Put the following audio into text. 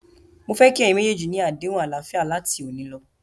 Mó fẹ́ kí ẹ̀yin méjèèjì ni àdéhùn àlàáfíà láti òní lọ.!